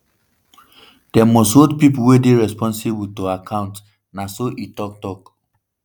dem must hold pipo wey dey responsible to account” na so e tok. tok.